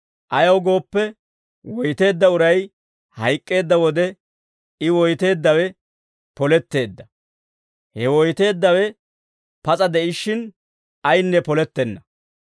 Ayaw gooppe, woyteedda uray hayk'k'eedda wode, I woyteeddawe poletteedda; he woyteeddawe pas'a de'ishshin, ayinne polettenna.